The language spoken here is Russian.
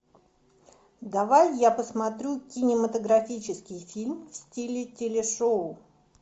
давай я посмотрю кинематографический фильм в стиле телешоу